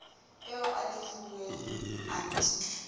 eo a e lefuweng anthe